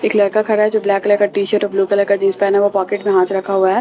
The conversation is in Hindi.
एक लड़का खड़ा है जो ब्लैक कलर का टी शर्ट और ब्लू कलर का जींस पहना हुआ पॉकेट में हाथ रखा हुआ है।